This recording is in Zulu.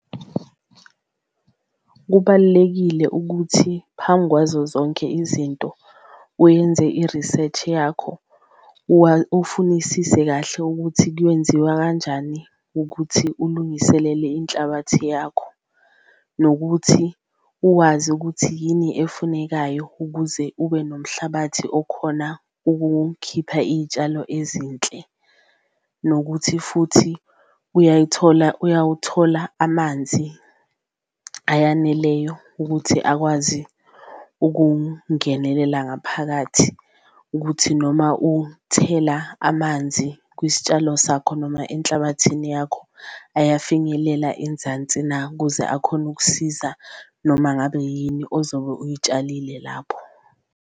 Kubalulekile ukuthi phambi kwazo zonke izinto wenze i-research yakho ufunisise kahle ukuthi kuyenziwa kanjani ukuthi ulungiselele inhlabathi yakho, nokuthi uwazi ukuthi yini efunekayo ukuze ube nomhlabathi okhona ukhipha iy'tshalo ezinhle. Nokuthi futhi uyayithola uyawuthola amanzi eyaneleyo ukuthi akwazi ukungenelela ngaphakathi, ukuthi noma umthela amanzi kwisitshalo sakho noma enhlabathini yakho ayafinyelela enzansi na, kuze akhone ukukusiza noma ngabe yini ozobe uyitshalile lapho.